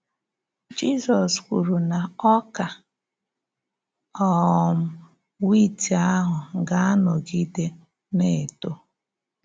Jizọs kwùrù na ọ̀kà um wịt àhụ̀ gà-anọ́gide na-ètò.